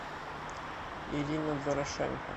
ирина дорошенко